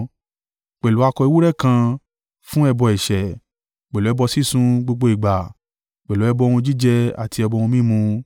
Pẹ̀lú akọ ewúrẹ́ kan fún ẹbọ ẹ̀ṣẹ̀, pẹ̀lú ẹbọ sísun gbogbo ìgbà, pẹ̀lú ẹbọ ohun jíjẹ àti ẹbọ ohun mímu.